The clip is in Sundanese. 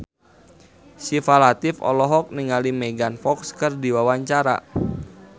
Syifa Latief olohok ningali Megan Fox keur diwawancara